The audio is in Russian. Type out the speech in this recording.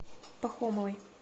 пахомовой